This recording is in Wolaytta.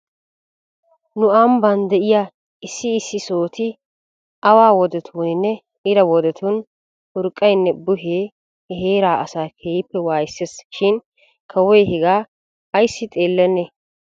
Nu ambban de'iyaa issi issi sohoti awa wodetuuninne ira wodetun urqqaynne buhee he heeraa asaa keehippe waayiseesi shin kawoy hegaa ayssi xeelennee?